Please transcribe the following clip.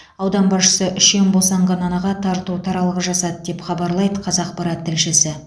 аудан басшысы үшем босанған анаға тарту таралғы жасады деп хабарлайды қазақпарат тілшісі